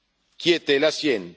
qui était la sienne.